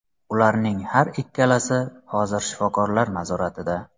Ularning har ikkalasi hozir shifokorlar nazoratida.